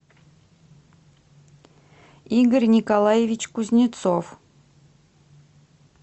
игорь николаевич кузнецов